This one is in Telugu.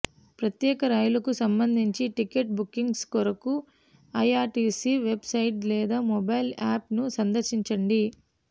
ప్రత్యేక రైళ్లకు సంబంధించి టికెట్ బుకింగ్స్ కొరకు ఐఆర్సిటిసి వెబ్ సైట్ లేదా మొబైల్ యాప్ ను సందర్శించండి